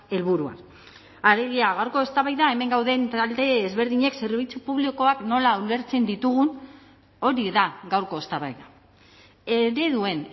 helburua alegia gaurko eztabaida hemen gauden talde ezberdinek zerbitzu publikoak nola ulertzen ditugun hori da gaurko eztabaida ereduen